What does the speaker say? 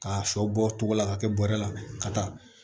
K'a sɔ bɔ cogo la k'a kɛ bɔrɛ la ka taa